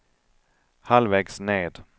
halvvägs ned